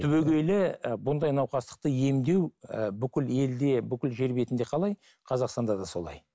түбегейлі і бұндай науқастықты емдеу ііі бүкіл елде бүкіл жер бетінде қалай қазақстанда да солай